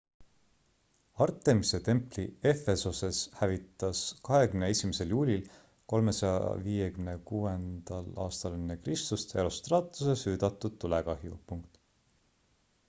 artemise templi efesoses hävitas 21 juulil 356 ekr herostratuse süüdatud tulekahju